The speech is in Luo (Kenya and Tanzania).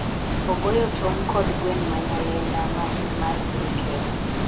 ogoyo tong' kod gweng' ma Nyalenda ma en mar piny Kenya